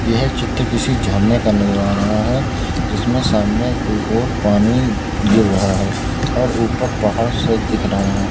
यह चित्र किसी झरने का नजर आ रहा है जिसमें सामने की ओर पानी गिर रहा है और ऊपर पहाड़ से दिख रहे हैं।